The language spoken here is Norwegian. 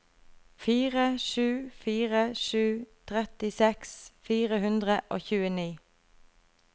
fire sju fire sju trettiseks fire hundre og tjueni